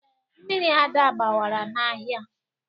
Mmiri Ada gbawara n'ahịa.